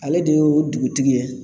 Ale de ye dugutigi ye